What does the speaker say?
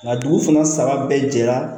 Nka dugu fana saba bɛɛ jɛra